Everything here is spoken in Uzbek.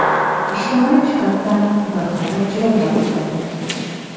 ijtimoiy jihatdan bir qadar jilovlab turadi.